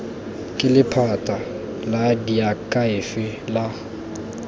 ke lephata la diakhaefe la